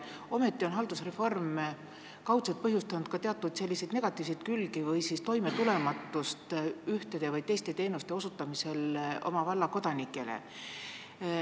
Ometi on haldusreform kaudselt põhjustanud ka teatud negatiivseid külgi ja toimetulematust ühtede või teiste teenuste osutamisel oma valla kodanikele.